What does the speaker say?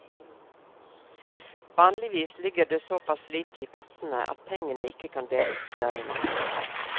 Vanligvis ligger det såpass lite i pottene at pengene ikke kan deles på særlig mange.